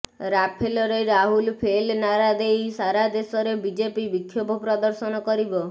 ରାଫେଲରେ Rahul fail ନାରା ଦେଇ ସାରା ଦେଶରେ ବିଜେପି ବିକ୍ଷୋଭ ପ୍ରଦର୍ଶନ କରିବ